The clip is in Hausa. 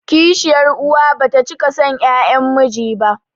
Kishiyar uwa bata cika son 'ƴaƴan miji ba